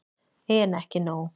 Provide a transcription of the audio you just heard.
En ekki nóg.